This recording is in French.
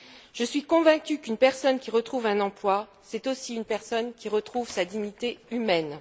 Je suis convaincue qu'une personne qui retrouve un emploi, c'est aussi une personne qui retrouve sa dignité humaine.